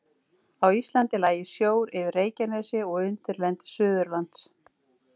Á Íslandi lægi sjór yfir Reykjanesi og undirlendi Suðurlands.